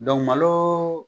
malo